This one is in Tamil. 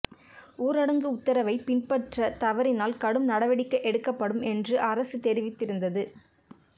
ஊரடங்கு உத்தரவை பின்பற்ற தவறினால் கடும் நடவடிக்கை எடுக்கப்படும் என்றும் அரசு தெரிவித்திருந்தது